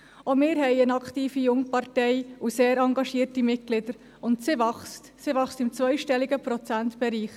Auch wir haben eine aktive Jungpartei und sehr engagierte Mitglieder – und diese wächst, sie wächst im zweistelligen Prozentbereich.